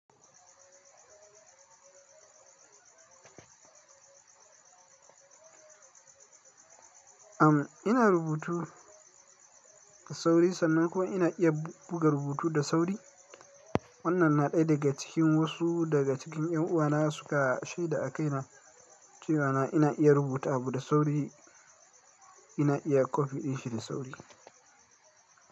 Am, ina rubutu da sauri sannan ko ina iya buga rubutu da sauri. Wannan na ɗaya daga cikin wasu daga cikin 'yan uwana suka shaida a kaina cewa na ina iya rubuta da sauri, ina iya kwafi ɗin shiri da sauri.